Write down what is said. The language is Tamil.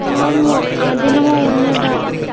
ஆமா அது என்னமோ உண்மதா